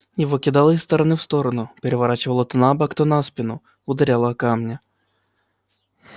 его кидало из стороны в сторону переворачивало то на бок то на спину ударяло о камни